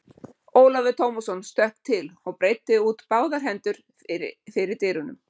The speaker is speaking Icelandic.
Ólafur Tómasson stökk til og breiddi út báðar hendur fyrir dyrum.